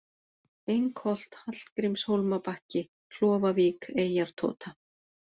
Engholt, Hallgrímshólmabakki, Klofavík, Eyjartota